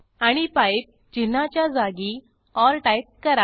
आणि पाइप चिन्हाच्या जागी ओर टाईप करा